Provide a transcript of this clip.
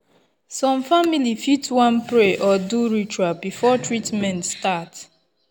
some family fit wan pray or do ritual before treatment start.